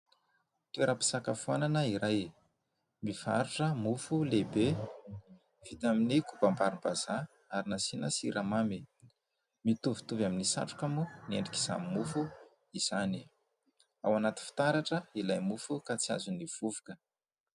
Toeram-pisakafoanana iray. Mivarotra mofo lehibe vita amin'ny kobam-barim-bazaha ary nasiana siramamy. Mitovitovy amin'ny satroka moa ny endrik'izany mofo izany. Ao anaty fitaratra ilay mofo ka tsy azon'ny vovoka.